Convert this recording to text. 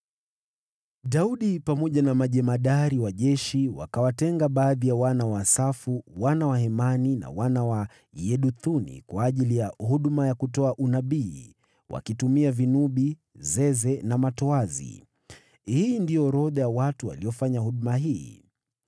Daudi, pamoja na majemadari wa jeshi, wakawatenga baadhi ya wana wa Asafu, wana wa Hemani na wana wa Yeduthuni, kwa ajili ya huduma ya kutoa unabii, wakitumia vinubi, zeze na matoazi. Hii ndiyo orodha ya watu waliofanya huduma hii: